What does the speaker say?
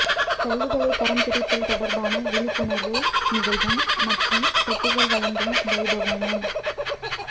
கழிவுகளை தரம் பிரித்தல் தொடர்பான விழிப்புணர்வு நிகழ்வும் மற்றும் தொட்டிகள் வழங்கும் வைபவமும்